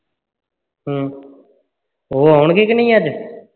ਹੂ ਤੇ ਉਹ ਆਉਣਗੇ ਕੇ ਨਹੀਂ ਅੱਜ